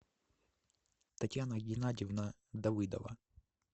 татьяна геннадьевна давыдова